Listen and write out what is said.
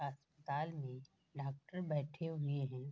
अस्पताल में डॉक्टर बैठे हुए है।